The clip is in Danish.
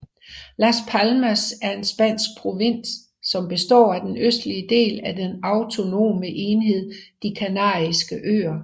Las Palmas er en spansk provins som består af den østlige del af den autonome enhed De Kanariske Øer